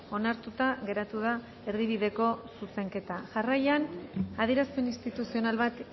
onartuta geratu da erdibideko zuzenketa jarraian adierazpen instituzional bat